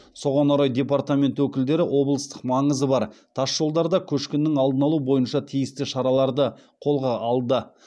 соған орай департамент өкілдері облыстық маңызы бар тасжолдарда көшкіннің алдын алу бойынша тиісті шараларды қолға алды